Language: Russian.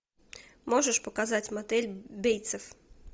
можешь показать мотель бейтсов